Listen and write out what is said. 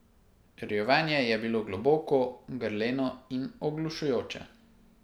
Rjovenje je bilo globoko, grleno in oglušujoče.